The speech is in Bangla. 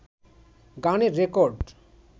গানের রেকর্ড